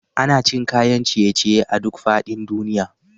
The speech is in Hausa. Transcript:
Ana cin kayan ciye ciye a duk faɗin duniya.